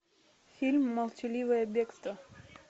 фильм молчаливое бегство